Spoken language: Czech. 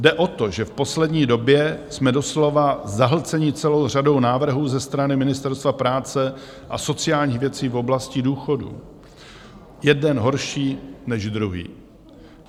Jde o to, že v poslední době jsme doslova zahlceni celou řadou návrhů ze strany Ministerstva práce a sociálních věcí v oblasti důchodů, jeden horší než druhý.